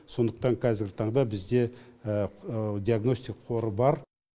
сондықтан қазіргі таңда бізде диагностик қоры бар